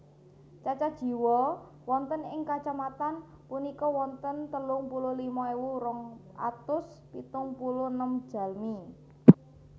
Cacah jiwa wonten ing kacamatan punika wonten telung puluh lima ewu rong atus pitung puluh enem jalmi